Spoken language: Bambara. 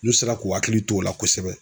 N'u sera k'u hakili t'o la kosɛbɛ